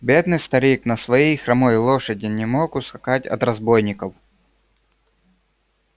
бедный старик на своей хромой лошади не мог ускакать от разбойников